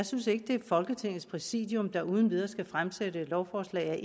synes at det er folketingets præsidium der uden videre skal fremsætte et lovforslag af